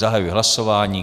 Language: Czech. Zahajuji hlasování.